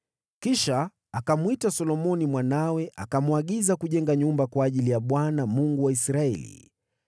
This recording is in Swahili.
Kisha akamwita Solomoni mwanawe akamwagiza kujenga nyumba kwa ajili ya Bwana , Mungu wa Israeli.